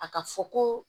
A ka fɔ ko